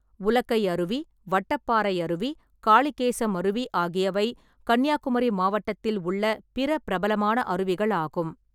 உலக்கை அருவி, வட்டப்பாறை அருவி, காளிகேசம் அருவி ஆகியவை கன்னியாகுமரி மாவட்டத்தில் உள்ள பிற பிரபலமான அருவிகள் ஆகும்.